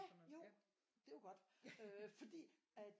Ja jo det var godt øh fordi at